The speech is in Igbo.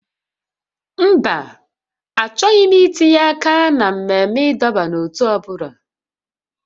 Mba, achọghị m itinye aka na mmemme ịdọba n'ótú ọ bụla